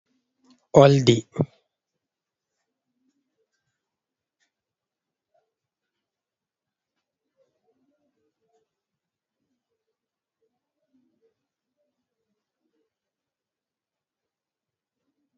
ooldi